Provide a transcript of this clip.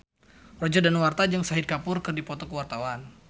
Roger Danuarta jeung Shahid Kapoor keur dipoto ku wartawan